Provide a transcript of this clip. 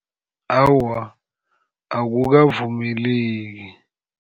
Awa, akukavumeleki.